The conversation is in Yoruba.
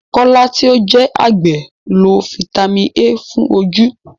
Kọ́lá tí ó jẹ́ àgbẹ̀ lo Fítámìnì A fún ojú.